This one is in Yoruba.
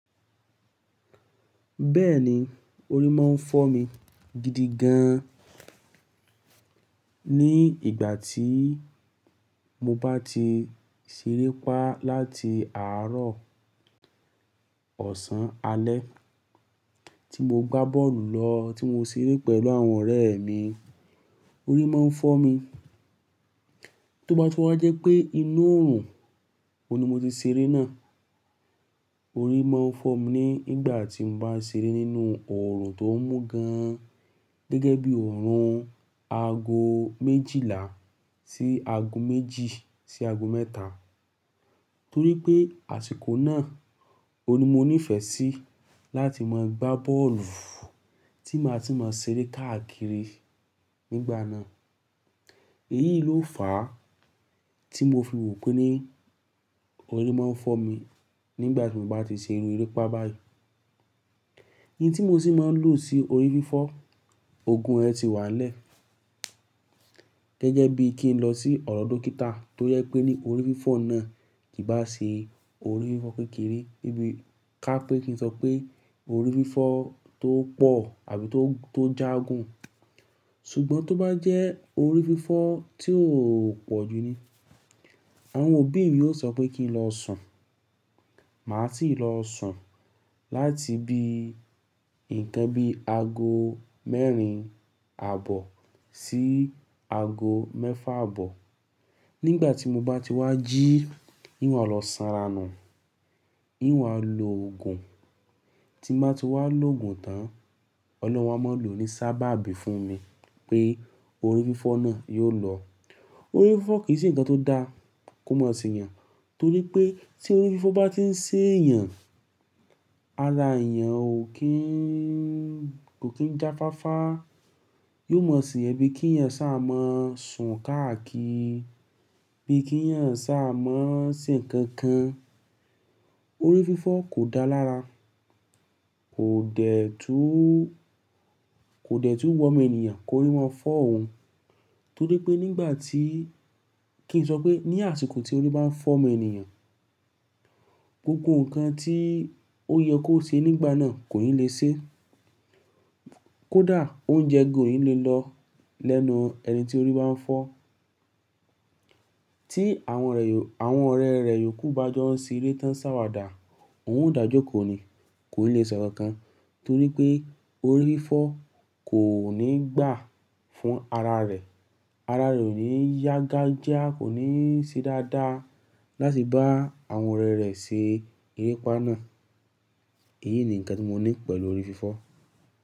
Bẹ́ẹ̀ni, orí máa ń fọ́ mi gidi gan an. Ní ìgbà tíì mo bá ti ṣeré pá láti àárọ̀ ọ̀sán alẹ́, tí mo gbá bọ́ọ̀lù lọ, tí mo ṣeré pẹ̀lú àwọn ọ̀rẹ́ mi, orí máa ń fọ́ mi. Tó bá túnwa jẹ́ pé inú òorùn, òhun ni mo ti ṣeré náà. Orí máa ń fọ́ mi ní ìgbà tí mo bá ń ṣeré nínú òrùn tó mú gan an, gẹ́gẹ́ bí òrùn ago méjìlá sí ago méjì sí ago mẹ́ta. Torí pé àsìkò náà, òun ni mo nífẹ̀ẹ́ sí láti máa gbá bọ́ọ̀lù, tí màá ti máa ṣeré káàkiri nígbà náà. Èyí ló fàá tí mo fi wò pé ní orí máa ń fọ́ mi nígbà tí mo bá ti ṣe irun erépa báyìí. Iye tí mo sì máa ń lò sí orí fífọ́, òògùn rẹ̀ ti wà nile. Gẹ́gẹ́ bí kí n lọ sí ọ̀do dókítà tó jẹ pé ní orí fífọ́ náà kì bá sì orí fífọ́ kékeré bí i ká pé kí n sọ pé orí fífọ́ tó pọ̀ àbí tó, tó jágún. Ṣùgbọ́n tó bá jẹ́ orí fífọ́ tí ó pọ̀ jú ni, àwọn obì mii yóò sọ pé kí n lọ sùn. Màá sì lọ sùn láti bi nǹkan bí ago mẹ́rin àbọ̀ sí ago mẹ́fà àbọ̀. Nígbà tí mo bá ti wá jí, yín wá lọ sanra nù, yín wá lo òògùn. Tí n bá ti wá lo òògùn tán, Ọlọ́run á máa lòó ní sábà bí fún mi pé orí fífọ́ náà yóò lọ. Orí fífọ́ kì í se nǹkan tó dáa kó mọ̀ sí èèyàn, torí pé tí orí fífọ́ bá ti ń ṣẹ́ èèyàn, ara èèyàn ó kín, kò kín jáfáfá. Yóò mọ̀ sí ẹ bí kí ẹ̀eyan sá a mọ́ ṣùn káàkiri, bí kí ẹ̀eyan sá a mọ́ ṣe nǹkan kan. Orí fífọ́ kò dáa lára, kò dẹ̀ tú, kò dẹ̀ tú wu omo éniyàn kó rí ma fọ́ òun. Torí pé nígbà tí-- kí n sọ pé ní àsìkò tí orí bá ń fọ́ omo éniyàn, gbogbo nǹkan tí ó yẹ kó ṣe nígbà náà kò nilè ṣe. Kódà oúnjẹ gan o nilè lọ lẹ́nu ẹni tí orí bá ń fọ́. Tí àwọn rẹ̀ yò, àwọn ọ̀rẹ́ rẹ̀ yòókù bá jọ ń ṣeré tán ṣàwàdà, òun ò dàjọ́ kò ni, kò nilè ṣe nǹkan kan torí pé orí fífọ́ kò nígbà fún ara rẹ̀. Ara rẹ̀ ò ní yágájá, kò ní ṣí dáadáa láti bá àwọn ọ̀rẹ́ rẹ̀ ṣe erépa náà. Èyí ni nǹkan tí mo ní pẹ̀lú orí fífọ́.